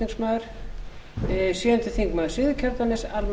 virðulegi forseti ég vil byrja á því að